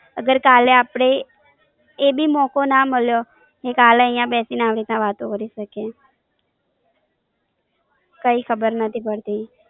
અગર કાલે અપડે એ બી મોકો ના મળિયો કે કાલે અઇયા બેસીને અઇયા આવી રીતના વાતો કરી શકીએ,